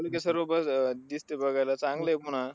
पण ते सर्व बघ अह दिसतंय बघायला चांगलंय म्हणा.